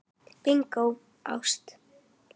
Bingó: ást.